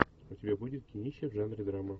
у тебя будет кинище в жанре драма